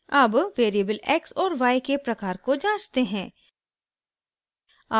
अब variable x और y के प्रकार को जांचते हैं